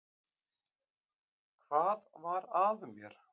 Hvað var að mér?